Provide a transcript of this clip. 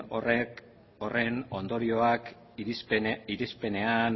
horren ondorioak irizpenean